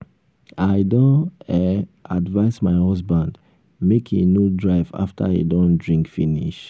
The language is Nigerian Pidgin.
i don um advice my husband make he no drive after he don drink finish